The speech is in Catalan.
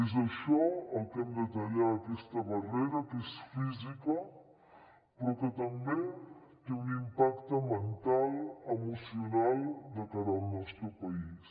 és això el que hem de tallar aquesta barrera que és física però que també té un impacte mental emocional de cara al nostre país